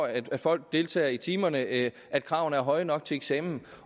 at folk deltager i timerne at at kravene er høje nok til eksamen